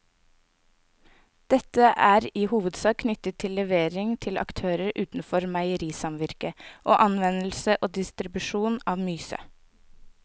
Dette er i hovedsak knyttet til levering til aktører utenfor meierisamvirket og anvendelse og distribusjon av myse.